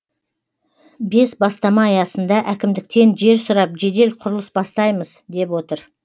бес бастама аясында әкімдіктен жер сұрап жедел құрылыс бастаймыз деп отыр